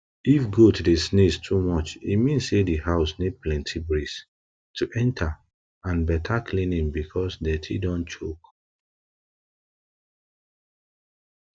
if goat dey sneeze too much e mean say di house need plenty breeze to enter and better cleaning because dirty don choke